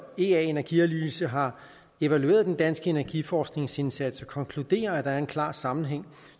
og ea energianalyse har evalueret den danske energiforskningsindsats og konkluderer at der er en klar sammenhæng